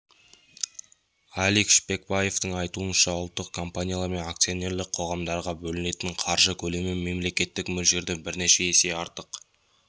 алик шпекбаевтың айтуынша ұлттық компаниялар мен акционерлік қоғамдарға бөлінетін қаржы көлемі мемлекеттік мөлшерден бірнеше есе артық